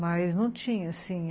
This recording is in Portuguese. Mas não tinha, assim